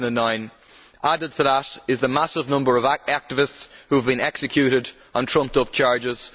2009. Added to that is the massive number of activists who have been executed on trumped up charges.